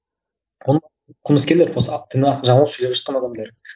қылмыскерлер жүрек жұтқан адамдар